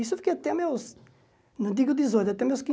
Isso eu fiquei até meus, não digo dezoito, até meus